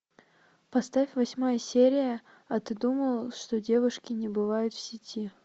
поставь восьмая серия а ты думал что девушки не бывают в сети